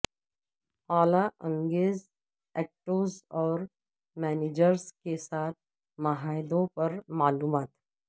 اعلی ایگزیکٹوز اور مینیجرز کے ساتھ معاہدوں پر معلومات